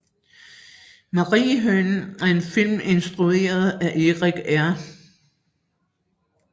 Mariehønen er en film instrueret af Erik R